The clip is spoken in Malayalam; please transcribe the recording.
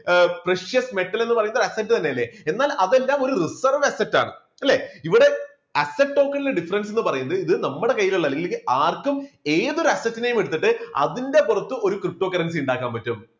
precious metal എന്നു പറയുന്നത് asset തന്നെ അല്ലേ? എന്നാൽ അതെല്ലാം ഒരു reserve asset ആണ്. അല്ലേ? ഇവിടെ asset token ലെ difference എന്ന് പറയുന്നത് ഇത് നമ്മുടെ കയ്യിലുള്ളതാണ് ഇല്ലെങ്കിൽ ആർക്കും ഏതൊരു asset നെയും എടുത്തിട്ട് അതിൻറെ പുറത്ത് ഒരു ptocurrency ഉണ്ടാക്കാൻ പറ്റും.